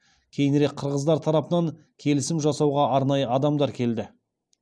кейінірек қырғыздар тарапынан келісім жасауға арнайы адамдар келді